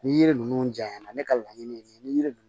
Ni yiri ninnu janya na ne ka laɲini ye nin ye ni yiri dun